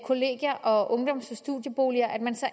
kollegier og ungdoms og studieboliger